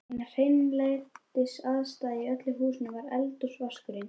Eina hreinlætisaðstaðan í öllu húsinu var eldhúsvaskurinn.